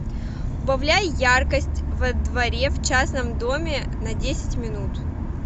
убавляй яркость во дворе в частном доме на десять минут